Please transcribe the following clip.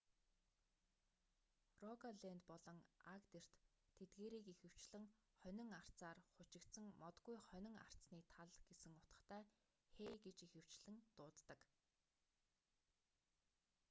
рогалэнд болон агдерт тэдгээрийг ихэвчлэн хонин арцаар хучигдсан модгүй хонин арцны тал гэсэн утгатай хей гэж ихэвчлэн дууддаг